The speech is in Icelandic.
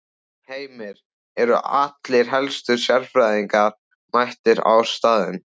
Heimir, eru allir helstu sérfræðingarnir mættir á staðinn?